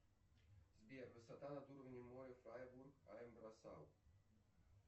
сбер высота над уровнем моря фрайбург им брайсгау